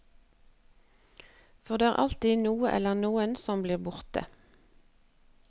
For det er alltid noe eller noen som blir borte.